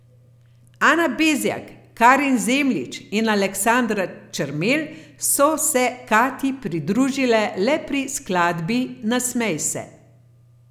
Ana Bezjak, Karin Zemljič in Aleksandra Čermelj so se Katji pridružile le pri skladbi Nasmej se.